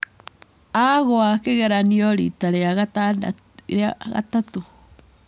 Aagũa kĩgeranio riita rĩa gatatũ.